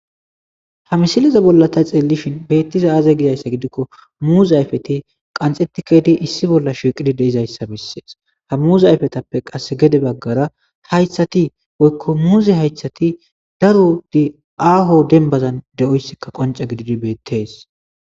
ha misiliza bollatay xeellishin beettiza aaza gidayssa gidikko muuza ayfeti qanxetikedi issi bolla shiiqidi deizayssa bissees ha muuz ayfetappe qas gede baggara haythati woykko muuze haythati daru di aaho dembazan de7oyssikka qonca gididi bettees